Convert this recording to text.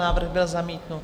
Návrh byl zamítnut.